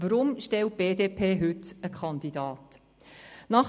Weshalb stellt die BDP heute einen Kandidaten?